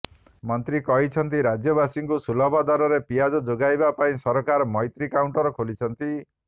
ମନ୍ତ୍ରୀ କହିଛନ୍ତି ରାଜ୍ୟବାସୀଙ୍କୁ ସୁଲଭ ଦରରେ ପିଆଜ ଯୋଗାଇବା ପାଇଁ ସରକାର ମୈତ୍ରୀ କାଉଣ୍ଟର ଖୋଲିଛନ୍ତି